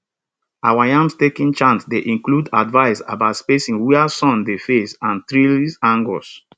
our yam staking chant dey include advice about spacing where sun dey face and trellis angles